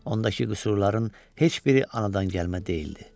Ondakı qüsurların heç biri anadan gəlmə deyildi.